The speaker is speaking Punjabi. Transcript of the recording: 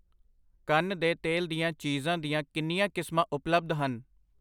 ਕੰਨ ਦੇ ਤੇਲ ਦੀਆਂ ਚੀਜ਼ਾਂ ਦੀਆਂ ਕਿੰਨੀਆਂ ਕਿਸਮਾਂ ਉਪਲੱਬਧ ਹਨ?